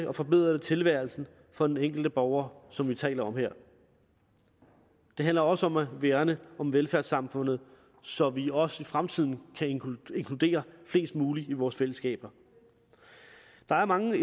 og forbedrer det tilværelsen for den enkelte borger som vi taler om her det handler også om at værne om velfærdssamfundet så vi også i fremtiden kan inkludere flest muligt i vores fællesskab der er mange